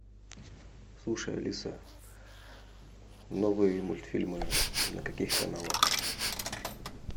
слушай алиса новые мультфильмы на каких каналах